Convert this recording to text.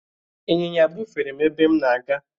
ịnyịnya bufere m ebe m na-aga.